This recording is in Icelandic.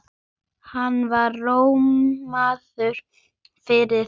Hann var rómaður fyrir það.